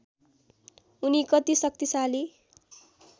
उनी कति शक्तिशाली